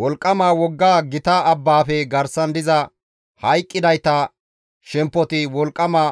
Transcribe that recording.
«Wolqqama wogga gita abbaafe garsan diza hayqqidayta shemppoti wolqqama